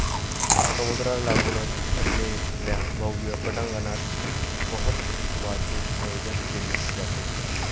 समुद्राला लागुनच असलेल्या भव्य पटांगणात महोत्सवाचे आयोजन केले जाते.